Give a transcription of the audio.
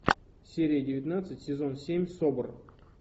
серия девятнадцать сезон семь собр